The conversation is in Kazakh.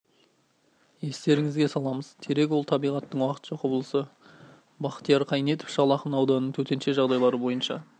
естеріңізге саламыз терек ол табиғаттың уақытша құбылысы бахтияр қайнетов шал ақын ауданының төтенше жағдайлар бойынша